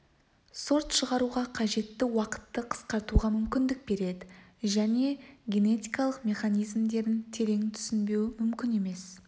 сорт шығаруға қажетті уақытты қысқартуға мүмкіндік береді және генетикалық механизмдерін терең түсінбеу мүмкін емес